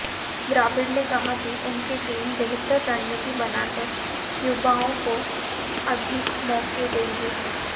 द्रविड़ ने कहा कि उनकी टीम बेहतर रणनीति बनाकर युवाओं को अधिक मौके देगी